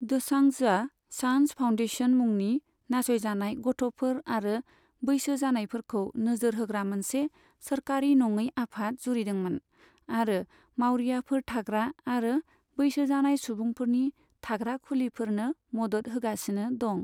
दोसांझआ Saanjh foundation मुंनि नासय जानाय गथ'फोर आरो बैसो जानायफोरखौ नोजोर होग्रा मोनसे सोरखारि नङै आफाद जुरिदोंमोन, आरो मावरियाफोर थाग्रा आरो बैसो जानाय सुबुंफोरनि थाग्रा खुलिफोरनो मदद होगासिनो दं।